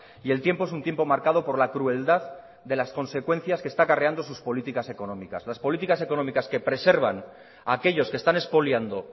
y el tiempo es un tiempo marcado por la crueldad de las consecuencias que está acarreando sus políticas económicas las políticas económicas que preservan a aquellos que están expoliando